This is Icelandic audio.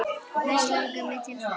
Mest langar mig til þess.